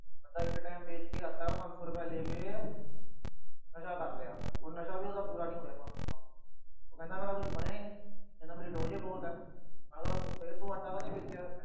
ਬੰਦਾ ਇੱਕ time ਵੇਚ ਕੇ ਆਟਾ, ਪੰਜ ਸੌ ਰੁਪਏ ਲੈ ਕੇ ਨਸ਼ਾ ਕਰ ਲਿਆ। ਉਹ ਨਸ਼ਾ ਵੀ ਉਹਦਾ ਪੂਰਾ ਨੀ ਹੋਇਆ, ਪੰਜ ਸੌ ਨਾਲ। ਉਹ ਕਹਿੰਦਾ ਮੇਰਾ ਕੁਛ ਬਣਿਆ ਈ ਨੀ, ਮੇਰੀ dose ਹੀ ਬਹੁਤ ਆ। ਮੈਂ ਕਿਹਾ ਫੇਰ ਤੂੰ ਆਟਾ ਕਾਹਤੋਂ ਵੇਚਿਆ।